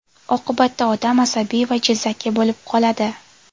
Oqibatda odam asabiy va jizzaki bo‘lib qoladi.